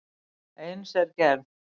Eins er gerð